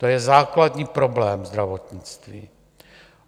To je základní problém zdravotnictví.